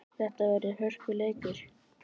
Þetta verður hörkuleikur!